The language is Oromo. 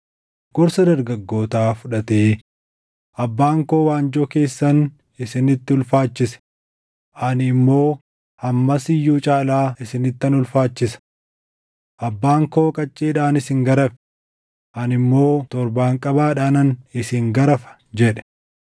gorsa dargaggootaa fudhatee, “Abbaan koo waanjoo keessan isinitti ulfaachise; ani immoo hammas iyyuu caalaa isinittan ulfaachisa. Abbaan koo qacceedhaan isin garafe; ani immoo torbaanqabaadhaanan isin garafa” jedhe.